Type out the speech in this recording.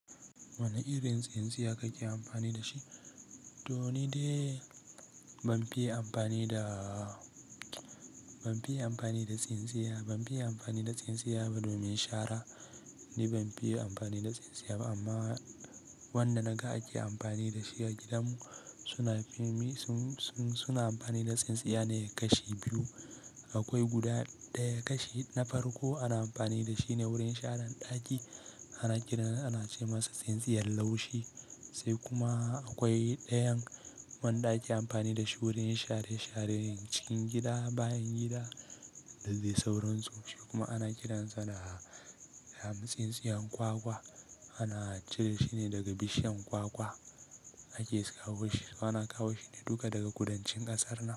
Wane irin tsintsiya kake amfani da shi? Doni dai ban fiye amfani da, ban fiye amfani da tsintsiya, ban fiye amfani da tsintsiya ba domin shara ni ban fiye amfani da tsintsiya ba amma wanda naga ake amfani da shi a gidanmu suna fim suna amfani da tsintsiya ne ya kashe biyu. Akwai guda daya ya kashe na farko ana amfani da shi ne wurin sharan ɗaki ana kiransa ana ce masa tsintsiyar laushi sai kuma akwai dayan wanda ake amfani da shi wurin share sharen cikin gida bayan gida da dai sauransu kuma ana kiransa da hamtsintsiyan kwakwa ana cire shi ne daga bishiyan kwakwa ake kawo shi suna kawo shi ne duka daga kudancin ƙasar nan.